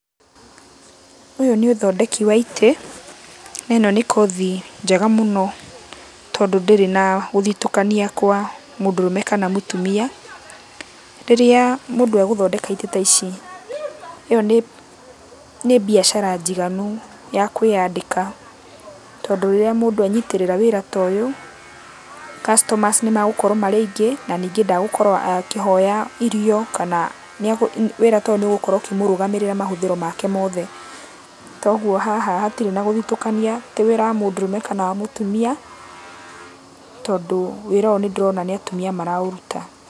Ũyũ nĩ ũthondeki wa itĩ, na ĩno nĩ kothi njega mũno tondũ ndĩrĩ na gũthitũkania kwa mũndũrũme kana mũtumia. Rĩrĩa mũndũ egũthondeka itĩ ta ici, ĩyo nĩ nĩ mbiacara njiganu ya kwĩyandĩka, tondũ rĩrĩa mũndũ enyitĩrĩra wĩra ta ũyũ, customers nĩmagũkorwo marĩ aingĩ, na ningĩ ndagũkorwo akĩhoya irio kana nĩegũ wĩra ta ũyũ nĩũgũkorwo ũkĩmũrũgamĩrĩra mahũthĩro make mothe. Toguo haha hatirĩ na gũthitũkania atĩ wĩra wa mũndũrũme kana wa mũtumia, tondũ wĩra ũyũ nĩndĩrona nĩ atumia maraũruta.